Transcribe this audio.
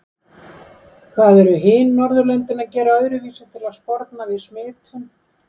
Hvað eru hin Norðurlöndin að gera öðruvísi til að sporna við smitum?